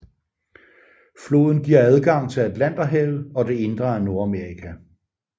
Floden giver adgang til Atlanterhavet og det indre af Nordamerika